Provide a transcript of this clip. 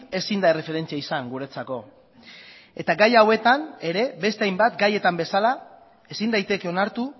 ezin da erreferentzia izan guretzako eta gai hauetan ere beste hainbat gaietan bezala ezin daiteke onartu